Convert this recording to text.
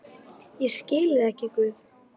Ég skil þig ekki, Guð.